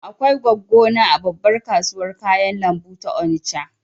Akwai goggo na a babbar kasuwar kayan lambu ta Onisha